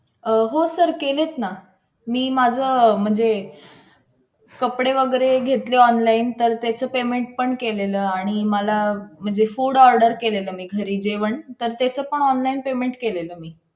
अं हो Sir केलेत ना मी माझं म्हणजे कपडे वगैरे घेतले online तर त्याचं payment पण केलेलं. आणि मला म्हणजे food order केलेलं मी घरी जेवण. तर त्याचं पण online payment केलेलं मी